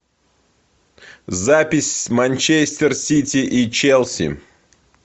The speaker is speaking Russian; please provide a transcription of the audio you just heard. запись манчестер сити и челси